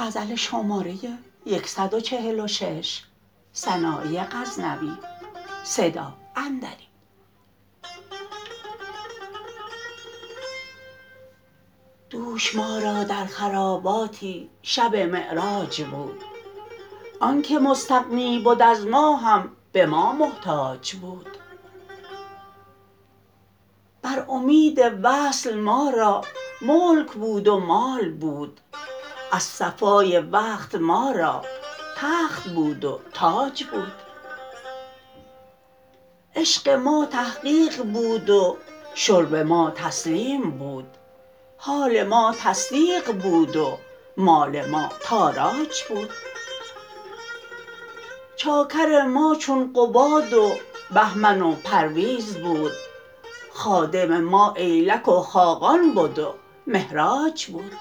دوش ما را در خراباتی شب معراج بود آنکه مستغنی بد از ما هم به ما محتاج بود بر امید وصل ما را ملک بود و مال بود از صفای وقت ما را تخت بود و تاج بود عشق ما تحقیق بود و شرب ما تسلیم بود حال ما تصدیق بود و مال ما تاراج بود چاکر ما چون قباد و بهمن و پرویز بود خادم ما ایلک و خاقان بد و مهراج بود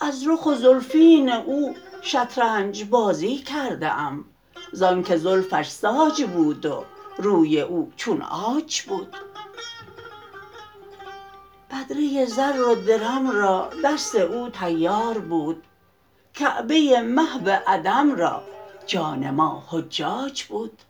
از رخ و زلفین او شطرنج بازی کرده ام زان که زلفش ساج بود روی او چون عاج بود بدره زر و درم را دست او طیار بود کعبه محو عدم را جان ما حجاج بود